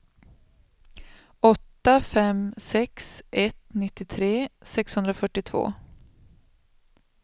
åtta fem sex ett nittiotre sexhundrafyrtiotvå